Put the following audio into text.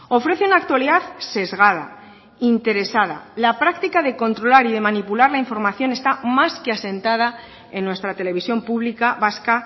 ofrece una actualidad sesgada interesada la práctica de controlar y de manipular la información está más que asentada en nuestra televisión pública vasca